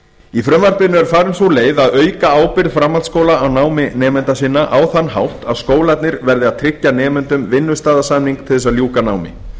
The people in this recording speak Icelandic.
í frumvarpinu er farin sú leið að auka ábyrgð framhaldsskóla á námi nemenda sinna á þann hátt að skólarnir verði að tryggja nemendum vinnustaðasamning til að ljúka námi